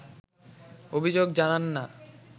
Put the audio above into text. অভিযোগ জানান না